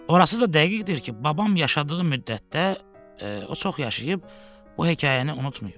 Orası da dəqiqdir ki, babam yaşadığı müddətdə, o çox yaşayıb, bu hekayəni unutmayıb.